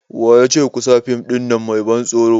Wayace kusa fim ɗin nan mai ban tsoro?